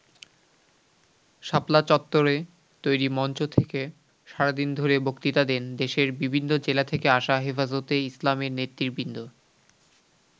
শাপলা চত্বরে তৈরি মঞ্চ থেকে সারাদিন ধরে বক্তৃতা দেন দেশের বিভিন্ন জেলা থেকে আসা হেফাজতে ইসলামের নেতৃবৃন্দ।